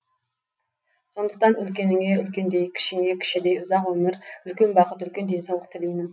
сондықтан үлкеніңе үлкендей кішіңе кішідей ұзақ өмір үлкен бақыт үлкен денсаулық тілеймін